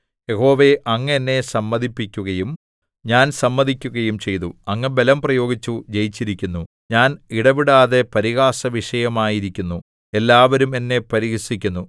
യഹോവേ അങ്ങ് എന്നെ സമ്മതിപ്പിക്കുകയും ഞാൻ സമ്മതിക്കുകയും ചെയ്തു അങ്ങ് ബലം പ്രയോഗിച്ചു ജയിച്ചിരിക്കുന്നു ഞാൻ ഇടവിടാതെ പരിഹാസവിഷയമായിരിക്കുന്നു എല്ലാവരും എന്നെ പരിഹസിക്കുന്നു